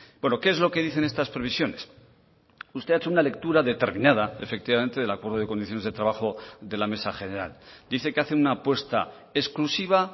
bueno qué es lo que dicen estas previsiones usted ha hecho una lectura determinada efectivamente del acuerdo de condiciones de trabajo de la mesa general dice que hace una apuesta exclusiva